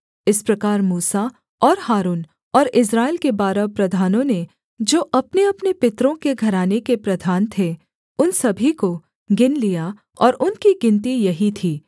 इस प्रकार मूसा और हारून और इस्राएल के बारह प्रधानों ने जो अपनेअपने पितरों के घराने के प्रधान थे उन सभी को गिन लिया और उनकी गिनती यही थी